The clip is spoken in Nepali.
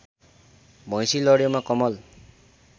भैँसी लड्योमा कमल